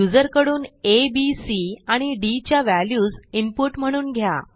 युजरकडून A B C आणि D च्या values input म्हणून घ्या